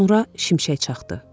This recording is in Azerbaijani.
Sonra şimşək çaxdı.